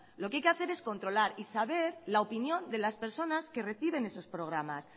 lo que hay que hacer es controlar y saber la opinión de las personas que reciben esos programas